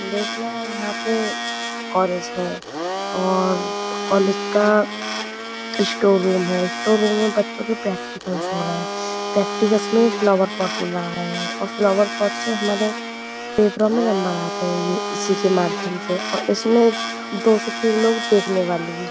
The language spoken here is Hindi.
देखना यहाँ पे कॉलेज है और कॉलेज का स्टोर रूम है स्टोर रूम में बच्चो के प्रक्टिकल्स हो रहे है। प्रक्टिकल्स में फ्लाउअर पोट्स बना रहे है और फ्लाउअर पोट्स में हमारे पेपरों में नम्बर्स आते है। ये इसी के माध्यम से और इसमें दो से तीन लोग देखने वाले भी--